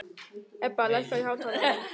Ebba, lækkaðu í hátalaranum.